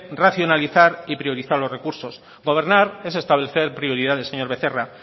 racionalizar y priorizar los recurso gobernar es establecer prioridades señor becerra